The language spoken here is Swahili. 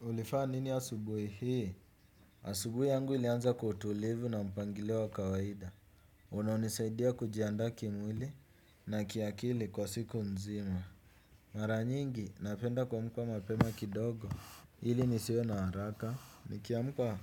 Ulifaa nini asubuhi hii? Asubuhi yangu ilianza kwa utulivu na mpangilio wa kawaida. Unaonisaidia kujianda kimwili na kiakili kwa siku mzima. Mara nyingi, napenda kuamka mapema kidogo. Ili nisiwe na haraka. Nikiamka,